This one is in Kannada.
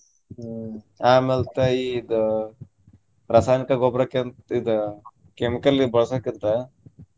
ಹ್ಮ್ ಆಮ್ಯಾಲ್ತ ಇದು ರಸಾಯನಿಕ ಗೊಬ್ಬರಕ್ಕಿಂತ ಇದ್ chemical ಬಳ್ಸೊಕ್ಕಿಂತಾ.